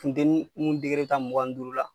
Funtenin mun bi taa mugan ni duuru la